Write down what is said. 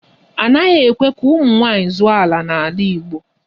Anaghị ekwe ka ụmụ nwaanyị zụọ ala n'ala Igbo.